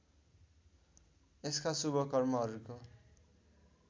यसका शुभ कर्महरूको